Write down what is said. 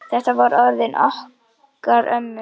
Þetta voru orðin okkar ömmu.